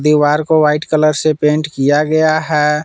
दीवार को white colour से पेंट किया गया है।